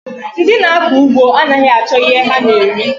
Ndị na-akọ ụgbọ anaghị achọ ihe ha na-eri